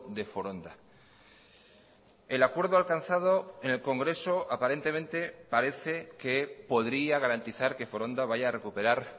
de foronda el acuerdo alcanzado en el congreso aparentemente parece que podría garantizar que foronda vaya a recuperar